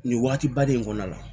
Nin waati ba de kɔnɔna la